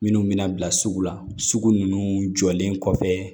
Minnu bɛna bila sugu la sugu ninnu jɔlen kɔfɛ